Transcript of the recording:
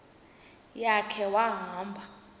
ya khe wahamba